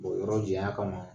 yɔrɔ janya kama